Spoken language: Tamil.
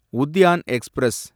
உத்யான் எக்ஸ்பிரஸ்